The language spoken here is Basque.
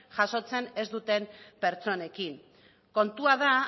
jasotzen ez duten pertsonekin kontua da